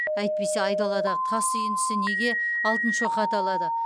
әйтпесе айдаладағы тас үйіндісі неге алтын шоқы аталады